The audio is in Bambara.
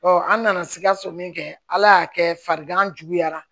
an nana sikaso min kɛ ala y'a kɛ farigan juguyara